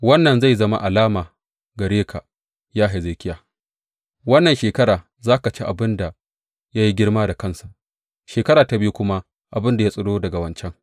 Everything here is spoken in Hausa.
Wannan zai zama alama gare ka, ya Hezekiya, Wannan shekara za ka ci abin da ya yi girma da kansa, shekara ta biyu kuma abin da ya tsiro daga wancan.